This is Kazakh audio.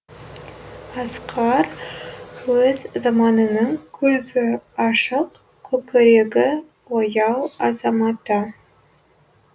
асқар өз заманының көзі ашық көкірегі ояу азаматы